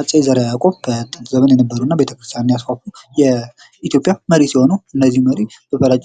አፄ ዘረ-ያዕቆብ በጥንት ዘመን የነበሩ እና ቤተ-ክርስቲያንን ያስዋቡ የኢትዮጵያ ሲሆኑ እና እነዚህ መሪ የሚታወቁ